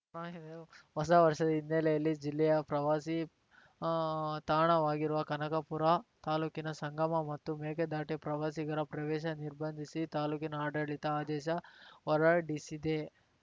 ಹೊಸ ವರ್ಷದ ಹಿನ್ನೆಲೆಯಲ್ಲಿ ಜಿಲ್ಲೆಯ ಪ್ರವಾಸಿ ತಾಣವಾಗಿರುವ ಕನಕಪುರ ತಾಲೂಕಿನ ಸಂಗಮ ಮತ್ತು ಮೇಕೆದಾಟು ಪ್ರವಾಸಿಗರ ಪ್ರವೇಶ ನಿರ್ಬಂಧಿಸಿ ತಾಲೂಕಿನ ಆಡಳಿತ ಆದೇಶ ಹೊರಡಿಸಿದೆ